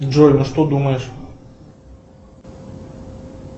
джой ну что думаешь